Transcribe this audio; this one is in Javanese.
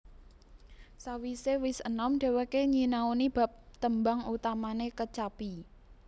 Sawisé wis enom dhéwéké nyinaoni bab tembang utamane kecapi